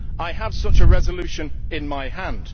I have such a resolution in my hand.